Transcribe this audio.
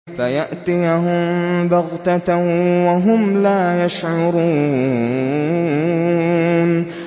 فَيَأْتِيَهُم بَغْتَةً وَهُمْ لَا يَشْعُرُونَ